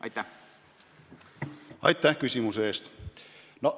Aitäh küsimuse eest!